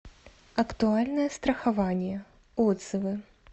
актуальное страхование отзывы